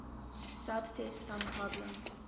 subset sum problem